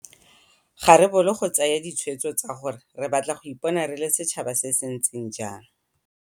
Ga re bolo go tsaya ditshwetso tsa gore re batla go ipona re le setšhaba se se ntseng jang.